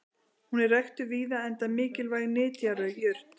hún er ræktuð víða enda mikilvæg nytjajurt